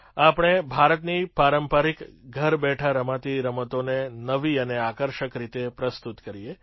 આપણે ભારતની પારંપરિક ઘર બેઠાં રમાતી રમતોને નવી અને આકર્ષક રીતે પ્રસ્તુત કરીએ